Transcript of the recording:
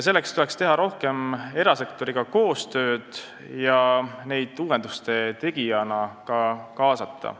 Selleks tuleks teha rohkem koostööd erasektoriga ja neid ka uuenduste tegijana kaasata.